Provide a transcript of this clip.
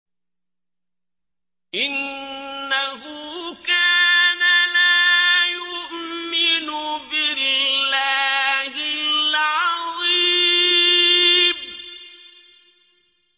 إِنَّهُ كَانَ لَا يُؤْمِنُ بِاللَّهِ الْعَظِيمِ